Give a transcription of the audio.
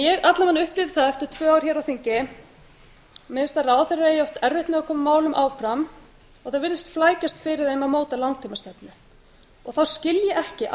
ég alla vega upplifi það eftir tvö ár hér á þingi mér finnst að ráðherrar eiga erfitt með að koma málum áfram og það virðist flækjast fyrir þeim að móta langtímastefnu þá skil ég ekki